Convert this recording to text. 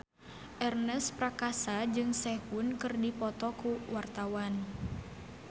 Ernest Prakasa jeung Sehun keur dipoto ku wartawan